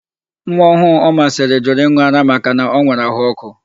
Nwaọhụụ Omasịrị jụrụ ịn̄ụ ara makana o nwere àhụ́ ọ́kụ́.